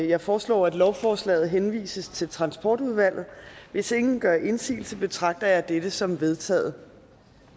jeg foreslår at lovforslaget henvises til transportudvalget hvis ingen gør indsigelse betragter jeg dette som vedtaget